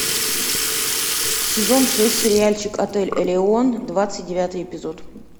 сезон шесть сериальчик отель элеон двадцать девятый эпизод